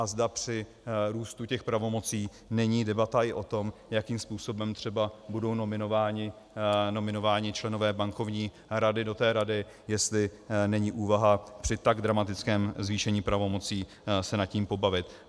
A zda při růstu těch pravomocí není debata i o tom, jakým způsobem třeba budou nominováni členové Bankovní rady do té rady, jestli není úvaha při tak dramatickém zvýšení pravomocí se nad tím pobavit.